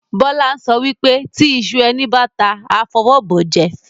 Bola ń sọ wípé "Tí ìṣù ẹni báta, a fọwọ́ bọ̀ jẹ"